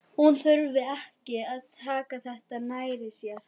Hún þurfi ekki að taka þetta nærri sér.